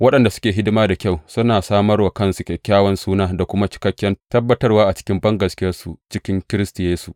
Waɗanda suke hidima da kyau suna samar wa kansu kyakkyawan suna da kuma cikakken tabbatarwa a cikin bangaskiyarsu cikin Kiristi Yesu.